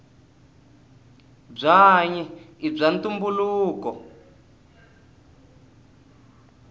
bwanyi ibwaantumbuluko